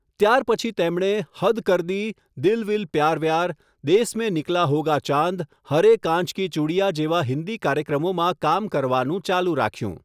ત્યારપછી તેમણે હદ કર દી, દિલ વિલ પ્યાર વ્યાર, દેસ મેં નિકલા હોગા ચાંદ, હરે કાંચ કી ચૂડિયાં જેવા હિન્દી કાર્યક્રમોમાં કામ કરવાનું ચાલુ રાખ્યું.